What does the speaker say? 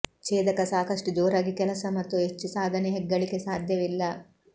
ಛೇದಕ ಸಾಕಷ್ಟು ಜೋರಾಗಿ ಕೆಲಸ ಮತ್ತು ಹೆಚ್ಚು ಸಾಧನೆ ಹೆಗ್ಗಳಿಕೆ ಸಾಧ್ಯವಿಲ್ಲ